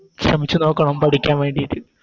ശ്രമിച്ച് നോക്കണം പഠിക്കാൻ വേണ്ടിട്ട്